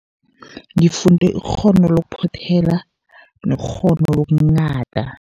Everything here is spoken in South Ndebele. Ngifunde ikghono lokuphothela nekghono lokunghada.